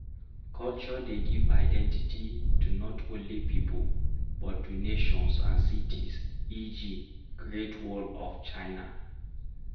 Culture dey give identity to not only pipo but to nations and cities eg Great wall of China